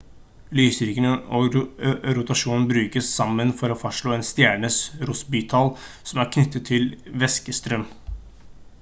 lysstyrken og rotasjonen brukes sammen for å fastslå en stjernes rossbytall som er knyttet til væskestrøm